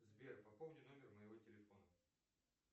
сбер пополни номер моего телефона